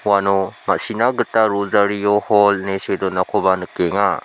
uano ma·sina gita rosaryo hol ine see donakoba nikenga.